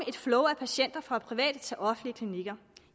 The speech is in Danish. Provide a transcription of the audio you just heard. et flow af patienter fra private til offentlige klinikker